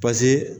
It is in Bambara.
pase